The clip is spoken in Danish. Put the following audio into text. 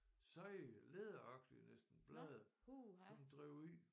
Seje læderagtige næsten blade som drev ud